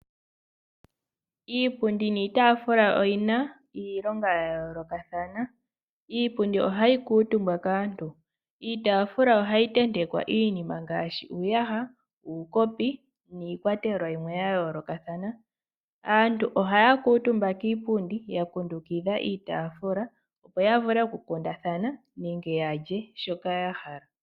Iipundi niitafula oyina iilonga ya yolokathana iipundi ohayi kutumbwa kaantu iitafula ohayi tetekwa iinima ngashi , uuyaha, uukopi niikwatelwa yimwe ya yolokathana , aantu oha kutumba kiipundi ya kundukitha iitafula opo yavule oku kundathana nenge yalye shoka yahala.